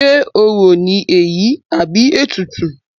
Ṣe orò ní èyí àbí ètùtù?